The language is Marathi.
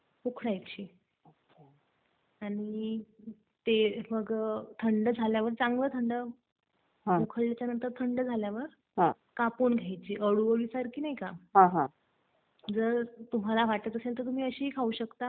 आणि कापनीला ला आल्यानंतर पहिल्या याच्यामध्ये पाण्याची आवश्यकता असते पण नंतर एकदा त्याची वाढ चांगली झाली. तसा ते पाण्याचा येण्याचा प्रमाण कमी कमी होत जाता त्यामुळे त्याचा व्यवस्थापन सोपा होता.